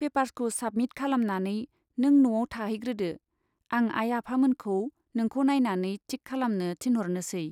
पेपार्सखौ submit खालामनानै नों न'आव थाहैग्रोदो, आं आइ आफामोनखौ नोंखौ नाइनानै थिक खालामनो थिनह'रनोसै।